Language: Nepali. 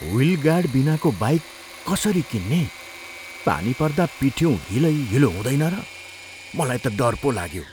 व्हील गार्ड बिनाको बाइक कसरी किन्ने? पानी पर्दा पिठिउँ हिलैहिलो हुँदैन र? मलाई त डर पो लाग्यो।